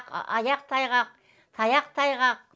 аяқ тайғақ таяқ тайғақ